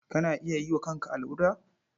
Kana iya yi wa kanka allura?